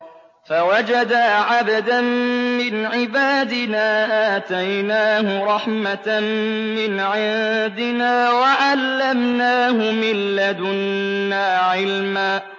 فَوَجَدَا عَبْدًا مِّنْ عِبَادِنَا آتَيْنَاهُ رَحْمَةً مِّنْ عِندِنَا وَعَلَّمْنَاهُ مِن لَّدُنَّا عِلْمًا